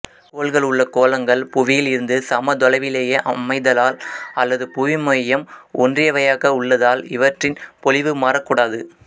கோள்கள் உள்ள கோளங்கள் புவியில் இருந்து சம தொலைவிலேயே அமைதலால் அல்லது புவிமையம் ஒன்றியவையாக உள்ளதால் இவற்ரின் பொலிவு மாறக்கூடாது